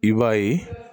I b'a ye